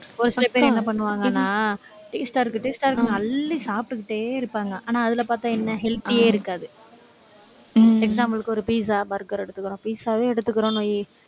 ஒரு சில பேர் என்ன பண்ணுவாங்கன்னா taste ஆ இருக்கு taste ஆ இருக்குன்னு அள்ளி சாப்பிட்டுக்கிட்டே இருப்பாங்க. ஆனால், அதுல பார்த்தா என்ன healthy ஏ இருக்காது example க்கு ஒரு pizza, burger எடுத்துக்கிறோம். pizza வே எடுத்துக்கிறோன்னு வை.